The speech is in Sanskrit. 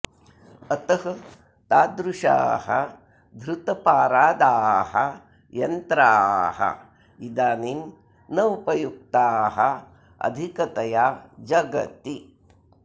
अतः तादृशाः धृतपारादाः यन्त्राः इदानीं न उपयुक्ताः अधिकतया जगति